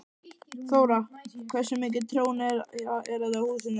Þóra: Hversu mikið tjón er þetta á húsinu?